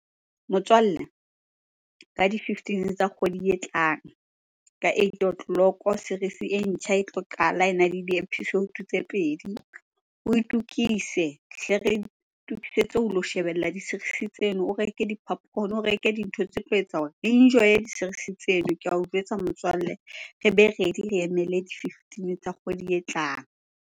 Motswalle, ka di-fifteen-e tsa kgwedi e tlang ka eight' o clock, series-e e ntjha e tlo qala ena le di-episode tse pedi. O itukise, hle re itukisetse ho lo shebella di-series-e tseno. O reke di-popcorn-a, o reke dintho tse tlo etsa re enjoye di-series-e tseno. Ke ao jwetsa motswalle, re be ready re emele di-fifteen-e tsa kgwedi e tlang.